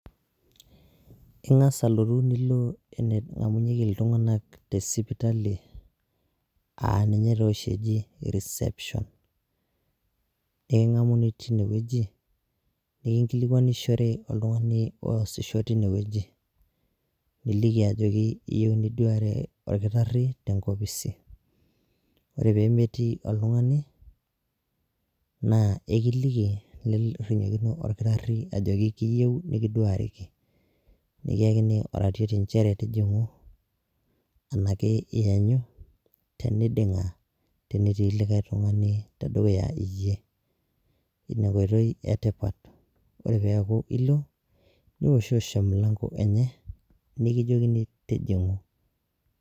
Ing'asa alotu nilo ene ng'amunyeki iltung'anak tesipitali, ah ninye toshi eji reception. Niking'amuni tinewueji, nikinkilikwanishore oltung'ani oasisho tinewueji. Niliki ajoki iyieu niduare orkitarri tenkopis. Ore pemetii oltung'ani, naa ekiliki, nirrinyokino orkitarri ajoki, kiyieu nikiduareki. Nikiakini oratioti njere tijing'u, enake eanyu, teniding'a, tenetii likae tung'ani tedukuya iyie. Inenkoitoi etipat. Ore peeku ilo, niwoshwosh emilanko enye, nikijokini tijing'u.